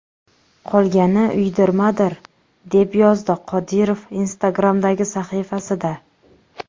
Qolgani uydirmadir!”, – deb yozdi Qodirov Instagram’dagi sahifasida.